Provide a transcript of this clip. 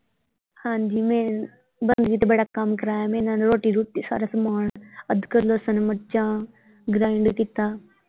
ਹਾਂਜੀ ਮੇਰੇ ਬੰਦਗੀ ਤੇ ਬੜਾ ਕੰਮ ਕਰਾਇਆ ਮੇਰੇ ਨਾਲ ਰੋਟੀ ਰੁਟੀ ਸਾਰਾ ਸਮਾਂਨ ਅਦਕਰ ਲਸਣ ਮਿਰਚਾਂ grind ਕੀਤਾ।